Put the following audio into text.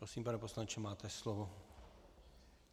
Prosím, pane poslanče, máte slovo.